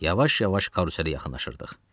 Yavaş-yavaş karuselə yaxınlaşırdıq.